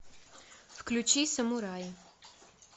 включи самурай